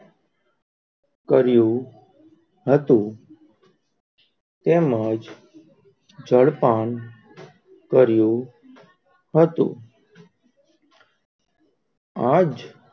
કર્યું હતું, તેમજ જળ પાન કર્યું હતું, આજ,